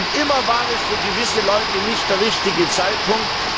Und immer war es für gewisse Leute nicht der richtige Zeitpunkt.